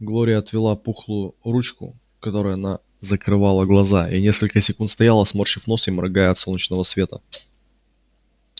глория отвела пухлую ручку которой она закрывала глаза и несколько секунд стояла сморщив нос и моргая от солнечного света